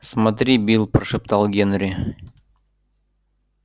смотри билл прошептал генри